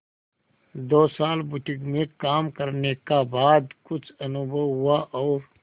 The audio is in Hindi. दो साल बुटीक में काम करने का बाद कुछ अनुभव हुआ और